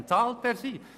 Dann bezahlt er sie.